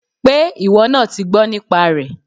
Pé ìwọ náà ti gbọ́ nípa rẹ̀